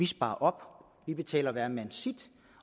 sparer op vi betaler hvermand sit